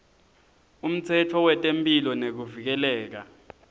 umtsetfo wetemphilo nekuvikeleka